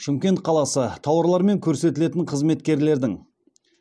шымкент қаласы тауарлар мен көрсетілетін қызметкерлердің